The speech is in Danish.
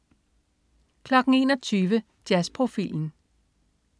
21.00 Jazzprofilen